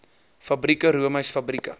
fabrieke roomys fabrieke